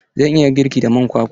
Zan iya girki da man kwakwa?